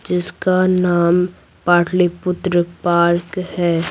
जिसका नाम पाटलीपुत्र पार्क है।